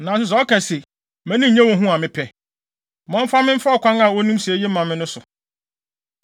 Nanso sɛ ɔka se, ‘Mʼani nnye wo ho’ a mepɛ, ma ɔmfa me mfa ɔkwan a onim sɛ eye ma no no so.”